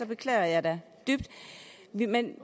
beklager jeg da dybt men